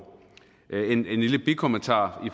en lille bikommentar